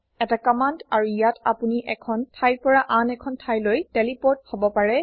এটা কম্মান্দ আৰু ইয়াত আপোনি এখন থাইৰ পৰা আন এখন থাইলৈ টেলিপোৰ্ট হব পাৰে